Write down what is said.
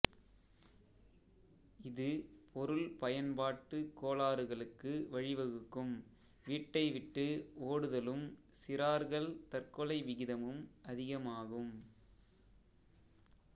இது பொருள் பயன்பாட்டு கோளாறுகளுக்கு வழிவகுக்கும் வீட்டை விட்டு ஓடுதலும் சிறார்கள் தற்கொலை விகிதமும் அதிகமாகும்